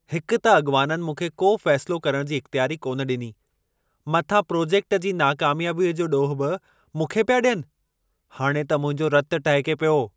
हिकु त अॻिवाननि मूंखे को फ़ैसिलो करण जी इख़्तियारी कोन डि॒नी, मथां प्रोजेक्ट जी नाकमयाबीअ जो ॾोहु बि मूंखे पिया ॾियनि। हाणे त मुंहिंजो रतु टहिके पियो!